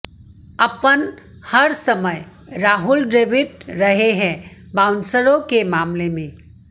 अपन हर समय राहुल द्रविड़ रहे हैं बाउंसरों के मामले में